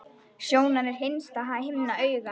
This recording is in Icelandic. Sjónan er innsta himna augans.